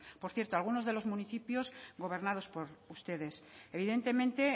por cierto algunos de los municipios gobernados por ustedes evidentemente